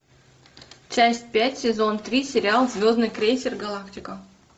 часть пять сезон три сериал звездный крейсер галактика